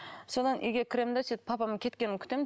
содан үйге кіремін де сөйтіп папамның кеткенін күтемін